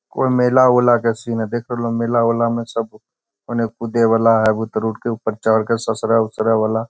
कोय मेला उला के सीन हेय देख रहलो मेला उला मे सब उने कूदे वाला हेय बहुत रोड के ऊपर चढ़ के ससरै उसरे वाला --